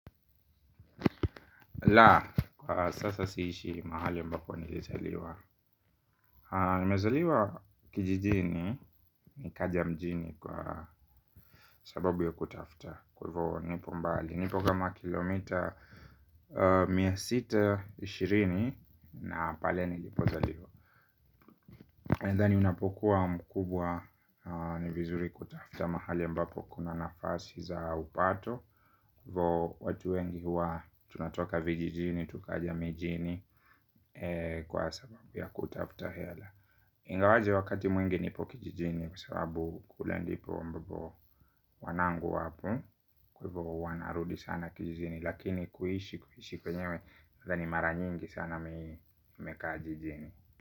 La, sasa siishi mahali ambapo nilizaliwa. Nimezaliwa kijijini nikaja mjini kwa sababu ya kutafuta kwa hivo nipo mbali, nipo kama kilomita mia sita ishirini na pale nilipozaliwa. Nadhani unapokuwa mkubwa ni vizuri kutafuta mahali ambapo kuna nafasi za upato. Hivo watu wengi huwa tunatoka vijijini, tukaja mijini. Kwa sababu ya kutafuta hela. Ingawaje wakati mwingi nipo kijijini kwa sababu kule ndipo ambapo wanangu wapo. Kwa hivo huwa narudi sana kijijini. Lakini kuishi kwenyewe nadhani mara nyingi sana nimekaa jijini.